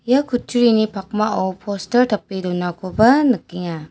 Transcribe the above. ia kutturini pakmao postar tape donakoba nikenga.